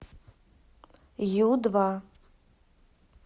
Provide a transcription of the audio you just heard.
ю два